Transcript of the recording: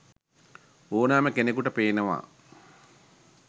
ඕනෑම කෙනකුට පේනවා.